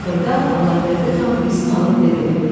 Axırda Allahverdi xan izin alıb dedi: